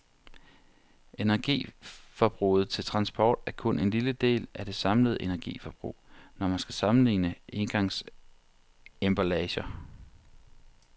Energiforbruget til transport er kun en lille del af det samlede energiforbrug, når man skal sammenligne engangsemballager.